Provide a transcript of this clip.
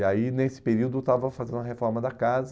E aí, nesse período, eu estava fazendo a reforma da casa.